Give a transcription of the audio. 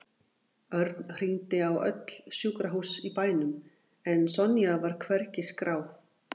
Örn hringdi á öll sjúkrahús í bænum en Sonja var hvergi skráð.